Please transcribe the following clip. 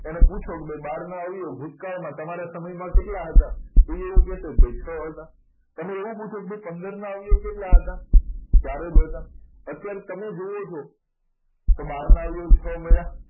એને પૂછો કે બારનો અવયવ ભૂતકાળમાં તમારા સમયમાં કેટલા હતા તો એવું કહેશે કે ભાઈ છ હતા તમે એવું પૂછો કે પંદર ના અવયવ કેટલા હતા ચાર જ હતા અત્યારે તમે જુઓ છો બાર આવ્યો છ મળ્યા